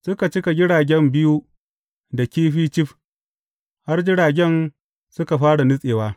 Suka cika jiragen biyu da kifi cif, har jiragen suka fara nutsewa.